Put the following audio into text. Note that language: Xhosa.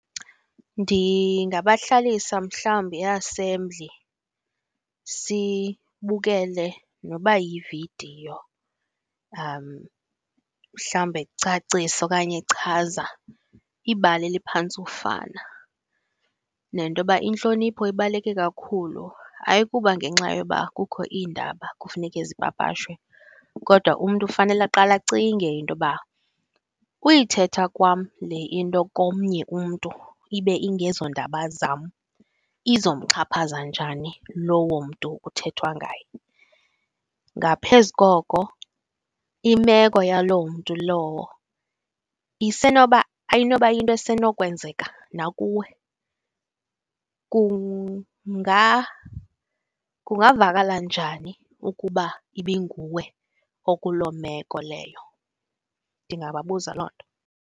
Ndingabahlalisa mhlawumbi e-assembly sibukele noba yividiyo , mhlawumbi ecacisa okanye echaza ibali eliphantse ufana, nentoba intlonipho ibaluleke kakhulu. Ayikuba ngenxa yoba kukho iindaba kufuneke zipapashwe, kodwa umntu ufanele aqale acinge intoba uyithetha kwam le into komnye umntu ibe ingezoondaba zam izomxhaphaza njani lowo mntu kuthethwa ngaye. Ngaphezu koko, imeko yaloo mntu lowo isenoba ayinoba yinto esenokwenzeka nakuwe? Kungavakala njani ukuba ibinguwe okuloo meko leyo? Ndingababuza loo nto.